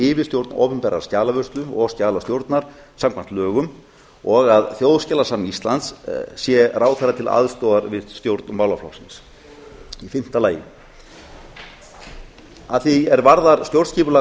yfirstjórn opinberrar skjalavörslu og skjalastjórnar samkvæmt lögum og að þjóðskjalasafn íslands sé ráðherra til aðstoðar við stjórn málaflokksins fimmta að því er varðar stjórnskipulag